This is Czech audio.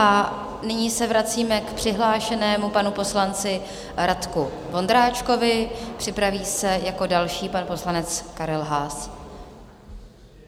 A nyní se vracíme k přihlášenému panu poslanci Radku Vondráčkovi, připraví se jako další pan poslanec Karel Haas.